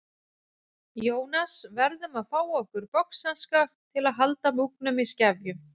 Jónas verðum að fá okkur boxhanska til að halda múgnum í skefjum.